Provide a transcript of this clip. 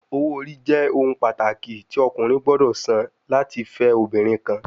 Owo ori jẹ ohun pataki ti ọkunrin gbọdọ san lati le fẹ obinrin kan